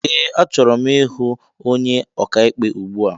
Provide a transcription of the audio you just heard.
Ee a chọrọ m ịhụ ónyé ọkà ikpe ugbua.